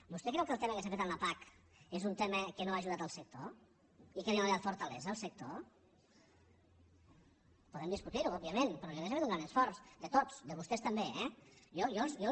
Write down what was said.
vostè creu que el tema que s’ha fet amb la pac és un tema que no ha ajudat el sector i que no ha donat fortalesa al sector podem discutir ho òbviament però jo crec que s’ha fet un gran esforç de tots de vostès també eh jo